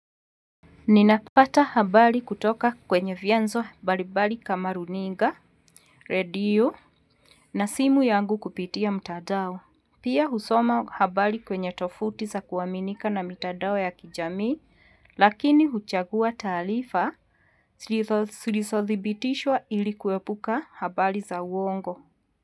Ninapata habari kutoka kwenye vyanzo mbalimbali kama runinga, radio, na simu yangu kupitia mtandao. Pia husoma habari kwenye tofuti za kuaminika na mtandao ya kijamii, lakini huchagua taarifa, zilizothibitishwa ili kuepuka habari za uongo.